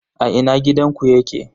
A ina gidanku yake?